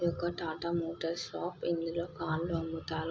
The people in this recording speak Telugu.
ఇదొక టాటా మోటార్స్ షాప్ ఇందులో కార్లు అముతారు.